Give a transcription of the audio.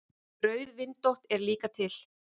Rauðvindótt er líka til.